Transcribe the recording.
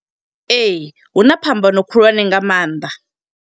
Ee, huna phambano khulwane nga maanḓa.